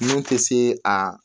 Mun tɛ se aa